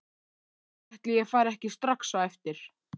Ætli ég fari ekki strax á eftir.